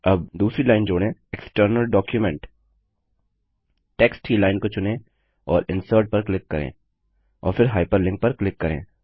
अब दूसरी लाइन जोड़ें External डॉक्यूमेंट टेक्स्ट की लाइन को चुनें और इंसर्ट पर क्लिक करें और फिर हाइपरलिंक पर क्लिक करें